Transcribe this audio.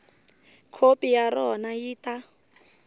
khopi ya rona yi ta